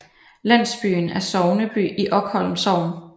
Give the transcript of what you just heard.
Landsbyen er sogneby i Okholm Sogn